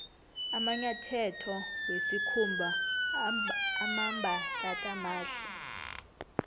amanyatheto wesikhumba amambatatamahle